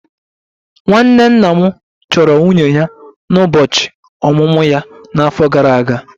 Nwanne nna m chọrọ nwunye ya n'ụbọchị ọmụmụ ya n'afọ gara aga